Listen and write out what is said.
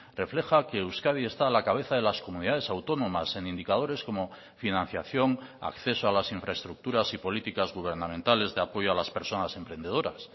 refleja que euskadi está a la cabeza de las comunidades autónomas en indicadores como financiación acceso a las infraestructuras y políticas gubernamentales de apoyo a las personas emprendedoras